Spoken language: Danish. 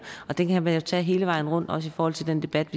og det kan man jo tage hele vejen rundt også i forhold til den debat